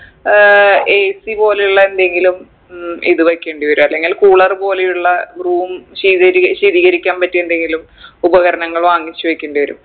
ഏർ AC പോലയുള്ള എന്തെങ്കിലും ഉം ഇത് വെക്കേണ്ടി വരും അല്ലെങ്കിൽ cooler പോലെയുള്ള room ശീതീരി ശീതീകരിക്കാൻ പറ്റിയ എന്തെങ്കിലും ഉപകരണങ്ങൾ വാങ്ങിച്ചു വെക്കേണ്ടി വരും